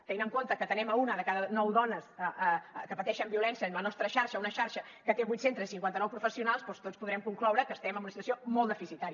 tenint en compte que atenem una de cada nou dones que pateixen violència en la nostra xarxa una xarxa que té vuit centres i cinquanta nou professionals doncs tots podrem concloure que estem en una situació molt deficitària